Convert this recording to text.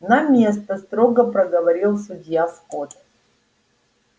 на место строго проговорил судья скотт